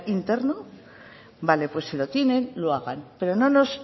interno vale pues si lo tienen lo hagan pero no nos